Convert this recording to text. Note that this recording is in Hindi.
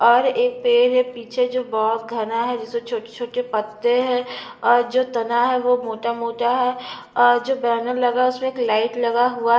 और एक पेड़ है पीछे जो बहोत घना है जिसमें छोटे-छोटे पत्ते हैं और जो तना है वो मोटा-मोटा है और जो बैनर लगा उसमें एक लाइट लगा हुआ --